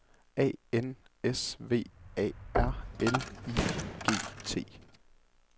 A N S V A R L I G T